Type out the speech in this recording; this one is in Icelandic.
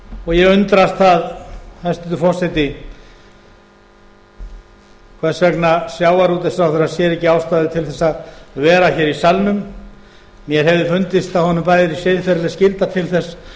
og ég undrast það hæstvirtur forseti hvers vegna sjávarútvegsráðherra sér ekki ástæðu til að vera í salnum mér hefði fundist að honum bæri siðferðileg skylda til þess